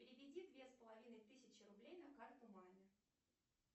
переведи две с половиной тысячи рублей на карту маме